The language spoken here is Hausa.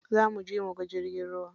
Za muje muga jirgin ruwa.